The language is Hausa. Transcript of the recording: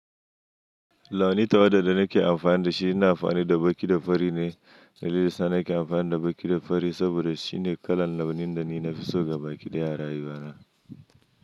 Launi ta waɗanda nake amfani da shi ina amfani da baƙi da fari ne. Najeriya Sani ke amfani da baƙi da fari saboda shine kalan launin da ni na fi so ga baƙi da a rayuwa na.